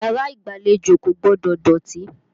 Yàrá ìgbàlejò kò gbọdọ̀ dọ̀tí.